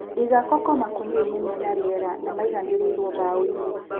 Iga koko nakũniani me nariera, maiganĩrĩirwo mbaoinĩ.